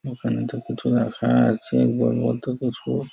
ওখানে দুকুচো রাখা আছে গোল গোল দুকুচো।